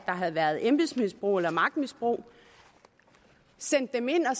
havde været embedsmisbrug eller magtmisbrug sendte dem ind og